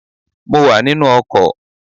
Mo wà nínú ọkọ̀